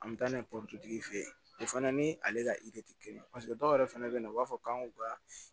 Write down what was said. An bɛ taa n'a ye porotigi fe ye o fɛnɛ ni ale ka tɛ kelen ye paseke dɔw yɛrɛ fana bɛ yen nɔ u b'a fɔ k'an k'u ka